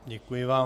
Děkuji vám.